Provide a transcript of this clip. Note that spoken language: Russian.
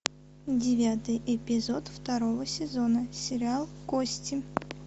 девятый эпизод второго сезона сериал кости